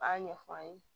A b'a ɲɛfɔ an ye